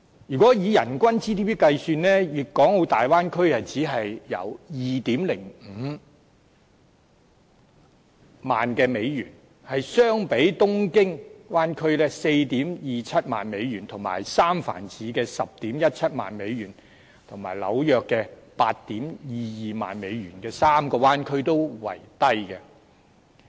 如果以人均 GDP 計算，大灣區只有 20,500 美元，相比東京灣區 42,700 美元和三藩市的 101,700 美元和紐約的 82,200 美元的3個灣區為低。